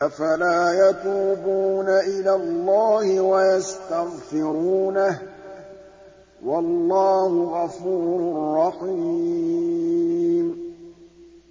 أَفَلَا يَتُوبُونَ إِلَى اللَّهِ وَيَسْتَغْفِرُونَهُ ۚ وَاللَّهُ غَفُورٌ رَّحِيمٌ